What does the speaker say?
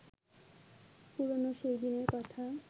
পুরানো সেই দিনের কথা